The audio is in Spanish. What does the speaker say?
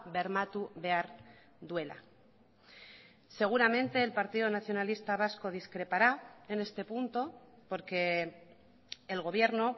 bermatu behar duela seguramente el partido nacionalista vasco discrepará en este punto porque el gobierno